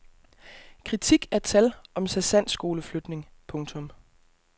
Kritik af tal om sergentskoleflytning. punktum